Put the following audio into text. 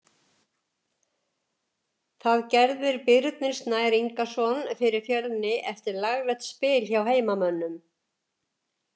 Það gerðir Birnir Snær Ingason fyrir Fjölni eftir laglegt spil hjá heimamönnum.